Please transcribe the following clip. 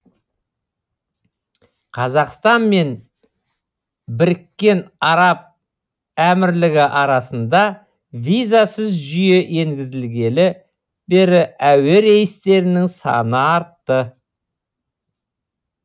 қазақстан мен біріккен араб әмірлігі арасында визасыз жүйе енгізілгелі бері әуе рейстерінің саны артты